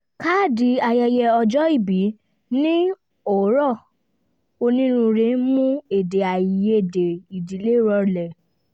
káàdì ayẹyẹ ọjọ́ ìbí ní ọ̀rọ̀ onínúure mú èdè-àì-yedè ìdílé rọlẹ̀